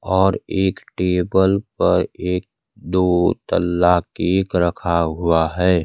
और एक टेबल पर एक दो तल्ला केक रखा हुआ है।